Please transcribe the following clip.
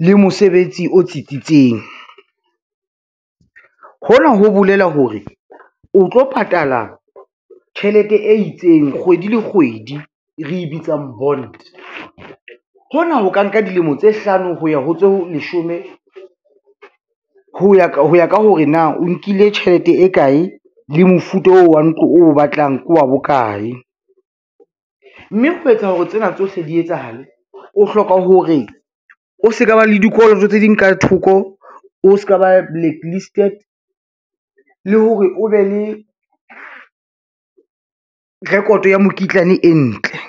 le mosebetsi o tsitsitseng, hona ho bolela hore o tlo patala tjhelete e itseng kgwedi le kgwedi re e bitsang bond. Hona ho ka nka dilemo tse hlano ho ya ho tse leshome ho ya ka hore na o nkile tjhelete e kae le mofuta oo wa ntlo o batlang ke wa bokae, mme ho etsa hore tsena tsohle di etsahale, o hloka hore o se ka ba le dikoloto tse ding ka thoko, o ska ba blacklisted le hore o be le record ya mekitlane e ntle.